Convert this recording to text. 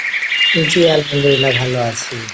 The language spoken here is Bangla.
জি আলহামদুলিল্লাহ ভালো আছি।